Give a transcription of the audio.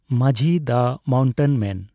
ᱢᱟᱹᱡᱷᱤ ᱫᱟ ᱢᱟᱣᱴᱮᱱ ᱢᱮᱱ